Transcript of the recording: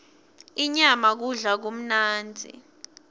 inyama kudla lokumnandzi